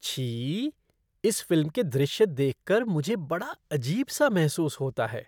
छी! इस फ़िल्म के दृश्य देख कर मुझे बड़ा अजीब सा महसूस होता है।